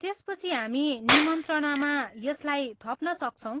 त्यसपछि हामी निम्त्रणामा यसलाई थप्नसक्छौँ।